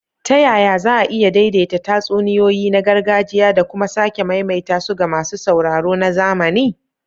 Ta yaya za a iya daidaita tatsuniyoyi na gargajiya da kuma sake maimaita su ga masu sauraro na zamani?